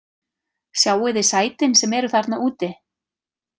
Sjáið þið sætin sem eru þarna úti?